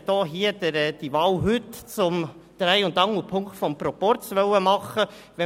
Man hat die diese Wahl heute zum Dreh- und Angelpunkt des Proporzes machen wollen.